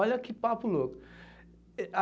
Olha que papo louco.